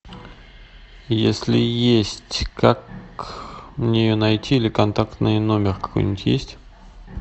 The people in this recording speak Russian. если есть как мне ее найти или контактный номер какой нибудь есть